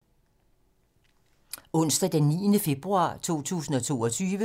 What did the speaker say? Onsdag d. 9. februar 2022